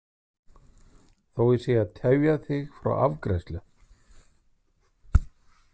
Þó að ég sé að tefja þig frá afgreiðslu.